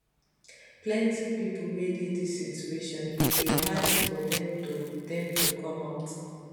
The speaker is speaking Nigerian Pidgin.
plenti pipo wey dey dis situation e dey hard for dem to dem to come out